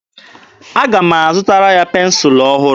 Aga m azụtara ya pensụlụ ọhụrụ.